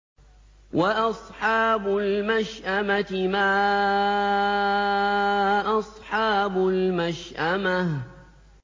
وَأَصْحَابُ الْمَشْأَمَةِ مَا أَصْحَابُ الْمَشْأَمَةِ